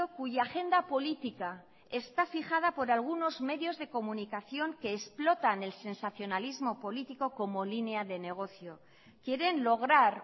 cuya agenda política está fijada por algunos medios de comunicación que explotan el sensacionalismo político como línea de negocio quieren lograr